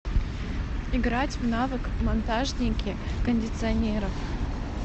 играть в навык монтажники кондиционеров